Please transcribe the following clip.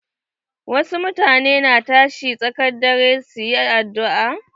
Wasu mutane na tashin tsakar dare su yi addu'a.